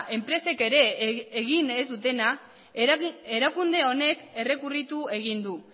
enpresek ere egin ez dutena erakunde honek errekurritu egin du